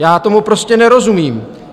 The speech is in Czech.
Já tomu prostě nerozumím.